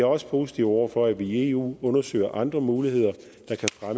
også positiv over for at vi i eu undersøger andre muligheder